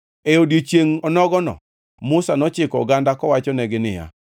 E odiechiengʼ onogono Musa nochiko oganda kowachonegi niya,